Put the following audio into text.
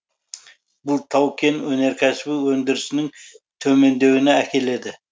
бұл тау кен өнеркәсібі өндірісінің төмендеуіне әкеледі